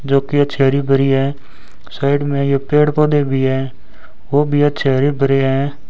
जोकि cherry berry हैं side में ये पेड़ पौधे भी हैं वो भी अच्छे हरे भरे है।